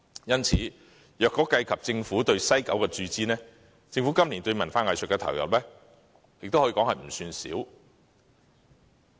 因此，若以政府對西九文化區的注資而論，政府今年對文化藝術的投入可說不少。